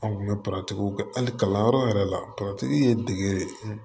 An kun bɛ kɛ hali kalanyɔrɔ yɛrɛ la ye degere